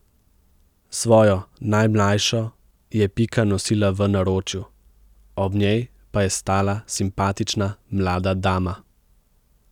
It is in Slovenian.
Svojo najmlajšo je Pika nosila v naročju, ob njej pa je stala simpatična mlada dama.